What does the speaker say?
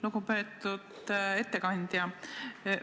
Lugupeetud ettekandja!